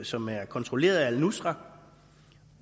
som er kontrolleret af al nusra